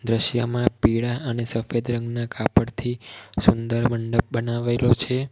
દ્રશ્યમાં પીળા અને સફેદ રંગના કાપડથી સુંદર મંડપ બનાવેલો છે.